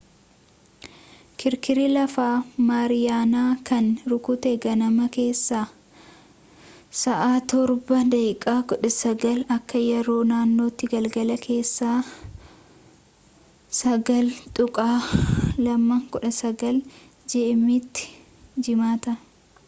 kirkirri lafaa mariiyaanaa kan rukute ganama keessaa 07:19 akka yeroo naannootti galgala keessaa 09:19 gmt’tti jiimaata